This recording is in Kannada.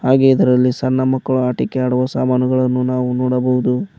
ಹಾಗೆ ಇದರಲ್ಲಿ ಸಣ್ಣ ಮಕ್ಕಳು ಆಟಿಕೆ ಆಡುವ ಸಾಮಾನುಗಳನ್ನು ನಾವು ನೋಡಬಹುದು.